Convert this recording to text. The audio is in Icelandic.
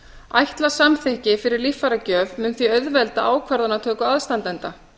ætlað samþykki fyrir líffæragjöf mun því auðvelda ákvarðanatöku aðstandenda